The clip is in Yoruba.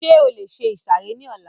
Ṣé o lè ìsàrẹ́ ní ọlá?